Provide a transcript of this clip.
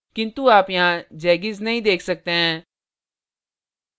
किन्तु आप यहाँ जैगीज़ नहीं देख सकते हैं